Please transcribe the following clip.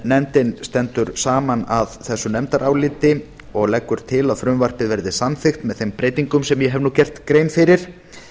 nefndin stendur saman að þessu nefndaráliti og leggur til að frumvarpið verði samþykkt með þeim breytingum sem ég hef nú gert grein fyrir